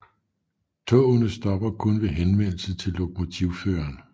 Togene stopper kun ved henvendelse til lokomotivføreren